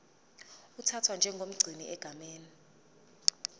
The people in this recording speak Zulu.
uthathwa njengomgcini egameni